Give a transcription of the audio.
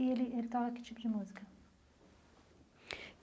E ele ele toca que tipo de música?